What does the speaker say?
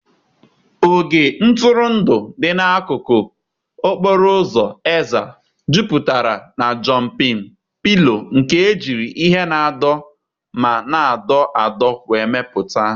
Ogig ntụrụndụ dị n'akụkụ okporo ụzọ Ezza jupụtara na Jọmpịn pilo nke ejiri ihe na-anọdụ ma na-adọ adọ wee mepụta.